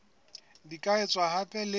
di ka etswa hape le